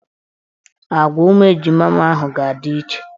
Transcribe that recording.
Agwa ụmụ ejima ahụ ga-adị iche.